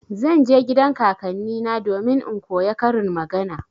Zan je gidan kakannina domin in koya karin magana.